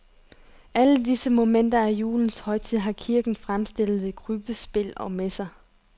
Alle disse momenter af julens højtid har kirken fremstillet ved krybbespil og messer.